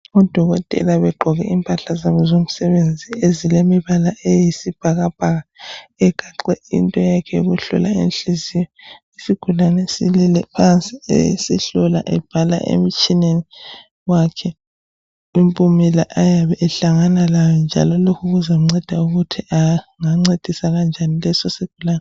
Odokotela begqoke impahla zabo zomsebenzi ezilemibala eyisibhakabhaka egaxe into yakhe yokuhlola inhliziyo isigulane esilele phansi esehlola ebhala emtshineni wakhe lempumela ayabe ehlangana lazo njalo lokhu kumncedisa ukuthi angancedisa kanjani leso sigulani